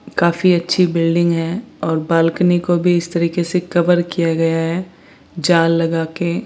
काफ़ी अच्छी बिल्डिंग है और बाल्कनी को भी इस तरीके से कवर किया गया है जाल लगा के--